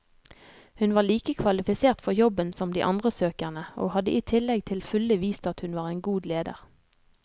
Hun var like kvalifisert for jobben som de andre søkerne, og hadde i tillegg til fulle vist at hun var en god leder.